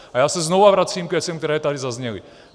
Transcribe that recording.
A já se znovu vracím k věcem, které tady zazněly.